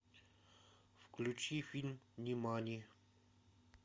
включи фильм нимани